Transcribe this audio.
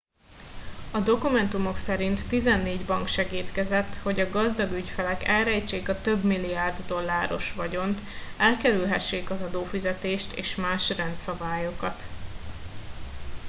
a dokumentumok szerint tizennégy bank segédkezett hogy a gazdag ügyfelek elrejtsék a több milliárd dolláros vagyont elkerülhessék az adófizetést és más rendszabályokat